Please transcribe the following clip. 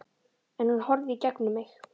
En hún horfir í gegnum mig